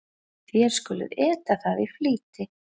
Þér skuluð eta það í flýti.